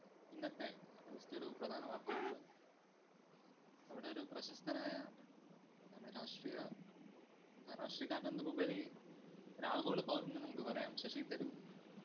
ഇന്നത്തെ ഒരു പ്രധാന വാര്‍ത്തയുണ്ട്. നമ്മുടെ ഒരു പ്രശസ്തനായ ആഹ് രാഷ്ട്രീയ അഹ് രാഷ്ട്രീയക്കാരന്‍ എന്നതിലുപരി ഒരാഗോള പൗരന്‍ന്ന് നമുക്ക് പറയാം. ശശി തരൂര്‍